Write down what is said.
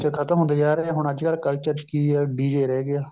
ਖਤਮ ਹੁੰਦਾ ਜਾ ਰਿਹਾ ਹੁਣ ਅੱਜਕਲ culture ਚ ਕੀ ਹੈ DJ ਹੀ ਰਹਿ ਗਿਆ